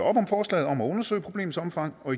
om forslaget om at undersøge problemets omfang og